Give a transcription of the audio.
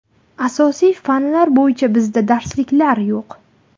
Asosiy fanlar bo‘yicha bizda darsliklar yo‘q.